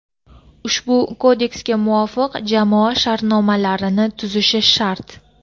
ushbu Kodeksga muvofiq jamoa shartnomalarini tuzishi shart.